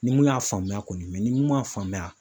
Ni mun y'a faamuya kɔni ni mun y'a faamuya